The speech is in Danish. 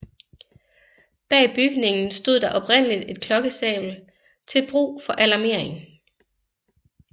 Bag bygningen stod der oprindeligt et klokkestabel til brug for alarmering